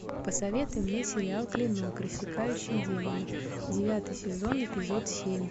посоветуй мне сериал клинок рассекающий демонов девятый сезон эпизод семь